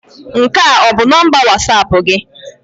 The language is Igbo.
Nke a ọ bụ nọmba Wọsapụ gị?